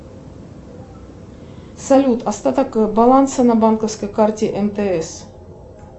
салют остаток баланса на банковской карте мтс